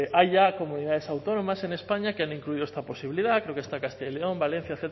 hay ya comunidades autónomas en españa que han incluido esta posibilidad creo que está castilla y león valencia